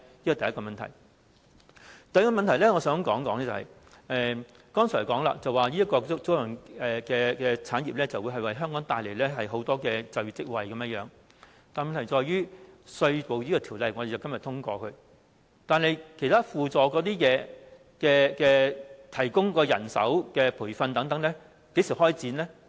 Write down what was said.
我想提出的第三個問題是，剛才提到租賃產業會為香港帶來很多就業職位，但問題在於當我們今天通過這項《條例草案》後，其他輔助計劃，例如提供人手及培訓等，究竟會在何時開展呢？